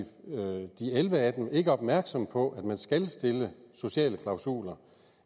elleve af dem ikke opmærksom på at man skal stille sociale klausuler